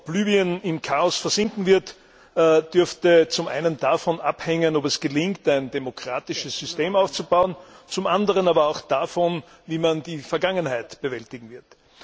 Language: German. Ob Libyen im Chaos versinken wird, dürfte zum einen davon abhängen, ob es gelingt, ein demokratisches System aufzubauen, zum anderen aber auch davon, wie man die Vergangenheit bewältigen wird.